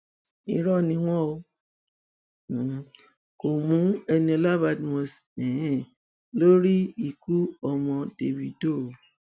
irọ ni wọn um kò mú eniola badmus um lórí ikú ọmọ dávido o